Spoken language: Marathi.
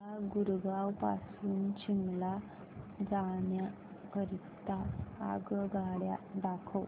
मला गुरगाव पासून शिमला जाण्या करीता आगगाड्या दाखवा